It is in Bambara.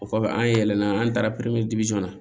O kɔfɛ an yɛlɛnna an taara na